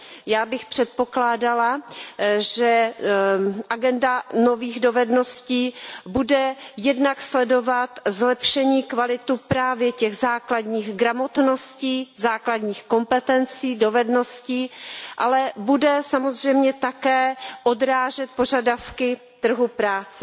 Já bych předpokládala, že agenda nových dovedností bude jednak sledovat zlepšení kvality právě těch základních gramotností, základních kompetencí, dovedností, ale bude samozřejmě také odrážet požadavky trhu práce.